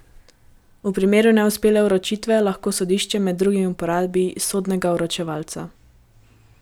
V primeru neuspele vročitve lahko sodišče med drugim uporabi sodnega vročevalca.